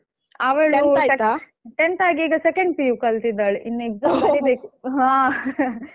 ಅವಳು tenth ಆಗಿ ಈಗ second PU ಕಲಿತಿದ್ದಾಳೆ ಇನ್ exam ಬರೀಬೇಕು ಹಾ.